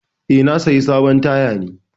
Eh, na saya sabon taya ne.